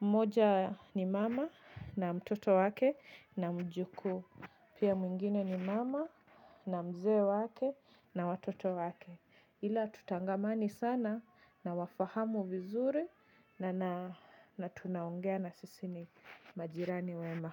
mmoja ni mama na mtoto wake na mjukuu pia mwingine ni mama na mzee wake na watoto wake. Ila tutangamani sana nawafahamu vizuri na tunaongea na sisi ni majirani wema.